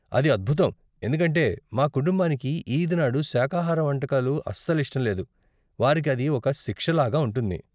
అది అద్భుతం, ఎందుకంటే మా కుటుంబానికి ఈద్ నాడు శాఖాహార వంటకాలు అస్సలు ఇష్టం లేదు, వారికి అది ఒక శిక్ష లాగ ఉంటుంది.